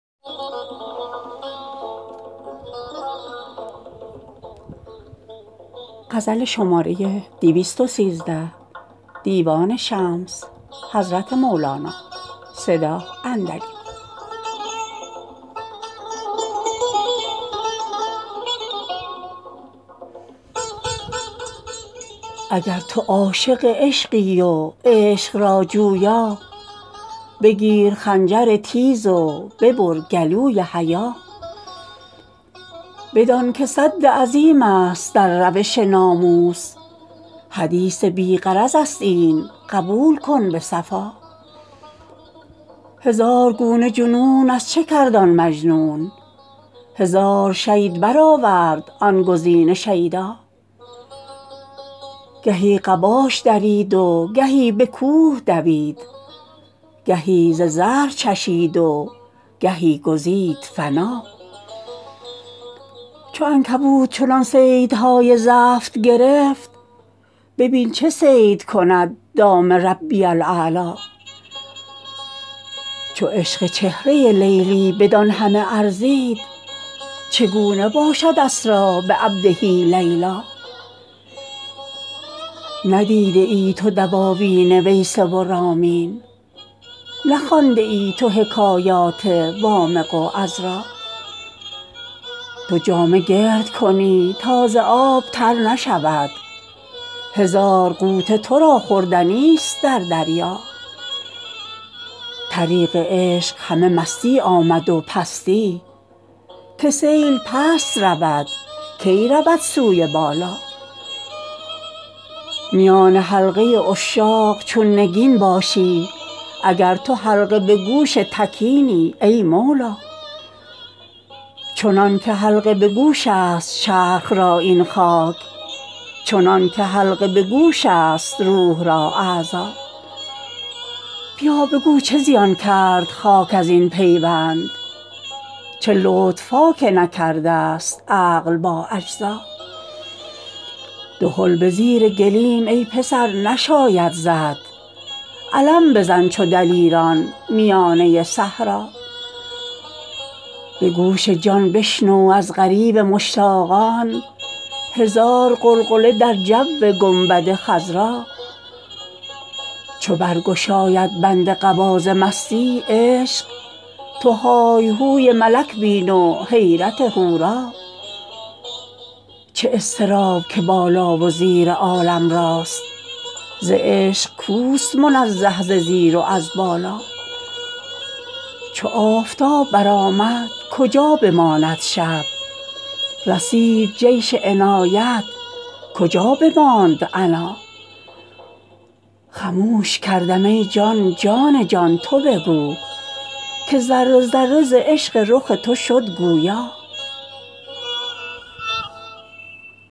اگر تو عاشق عشقی و عشق را جویا بگیر خنجر تیز و ببر گلوی حیا بدانک سد عظیم است در روش ناموس حدیث بی غرض است این قبول کن به صفا هزار گونه جنون از چه کرد آن مجنون هزار شید برآورد آن گزین شیدا گهی قباش درید و گهی به کوه دوید گهی ز زهر چشید و گهی گزید فنا چو عنکبوت چنان صیدهای زفت گرفت ببین چه صید کند دام ربی الاعلی چو عشق چهره لیلی بدان همه ارزید چگونه باشد اسری بعبده لیلا ندیده ای تو دواوین ویسه و رامین نخوانده ای تو حکایات وامق و عذرا تو جامه گرد کنی تا ز آب تر نشود هزار غوطه تو را خوردنی ست در دریا طریق عشق همه مستی آمد و پستی که سیل پست رود کی رود سوی بالا میان حلقه عشاق چون نگین باشی اگر تو حلقه به گوش تکینی ای مولا چنانک حلقه به گوش است چرخ را این خاک چنانک حلقه به گوش است روح را اعضا بیا بگو چه زیان کرد خاک از این پیوند چه لطف ها که نکرده ست عقل با اجزا دهل به زیر گلیم ای پسر نشاید زد علم بزن چو دلیران میانه صحرا به گوش جان بشنو از غریو مشتاقان هزار غلغله در جو گنبد خضرا چو برگشاید بند قبا ز مستی عشق تو های و هوی ملک بین و حیرت حورا چه اضطراب که بالا و زیر عالم راست ز عشق کوست منزه ز زیر و از بالا چو آفتاب برآمد کجا بماند شب رسید جیش عنایت کجا بماند عنا خموش کردم ای جان جان جان تو بگو که ذره ذره ز عشق رخ تو شد گویا